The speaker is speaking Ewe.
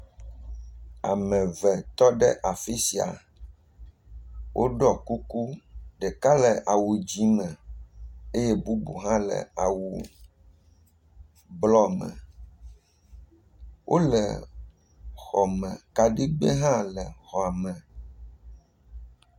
Ame eve tɔ ɖe afi sia. Woɖɔ kuku. Ɖeka le awu dzi me eye bubu hã le awu blɔ me. Wole xɔ me. Kaɖigbɛ hã le xɔ me.